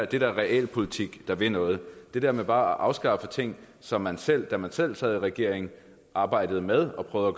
da realpolitik der vil noget det der med bare at afskaffe ting som man selv da man selv sad i regering arbejdede med og prøvede